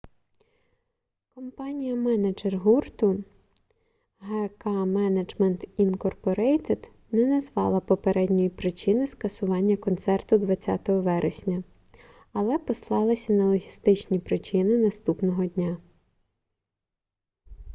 компанія-менеджер гурту гк менеджмент інкорпорейтед не назвала попередньої причини скасування концерту 20 вересня але послалася на логістичні причини наступного дня